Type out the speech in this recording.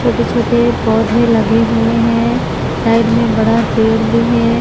छोटे छोटे पौधे लगे हुएं हैं साइड मे बड़ा पेड़ भी है।